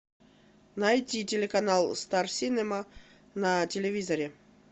найти телеканал стар синема на телевизоре